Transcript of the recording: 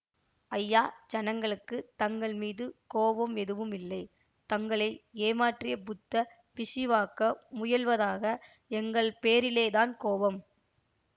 ஐயா ஜனங்களுக்கு தங்கள் மீது கோபம் எதுவும் இல்லை தங்களை ஏமாற்றியப் புத்த பிக்ஷுவாக்க முயல்வதாக எங்கள் பேரிலே தான் கோபம்